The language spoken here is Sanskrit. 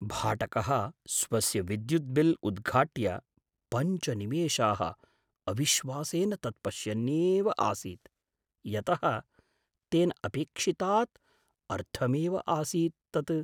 भाटकः स्वस्य विद्युद्बिल् उद्घाट्य पञ्च निमेषाः अविश्वासेन तत् पश्यन्नेव आसीत्, यतः तेन अपेक्षितात् अर्धमेव आसीत् तत्।